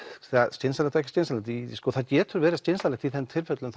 skynsamlegt og ekki skynsamlegt það getur verið skynsamlegt í þeim tilfellum